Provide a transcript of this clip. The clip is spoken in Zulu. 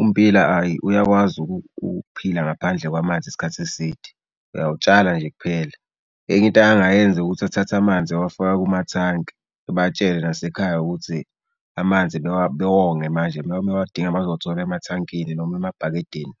ummbila ayi uyakwazi ukuphila ngaphandle kwamanzi isikhathi eside. Uyawutshala nje kuphela. Enye into angayenza ukuthi athathe amanzi awafake kumathanki. Ebatshele nasekhaya ukuthi amanzi bewonge manje uma bewadinga bazowathola emathangini noma emabhakedeni.